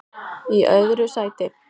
Í öðru sæti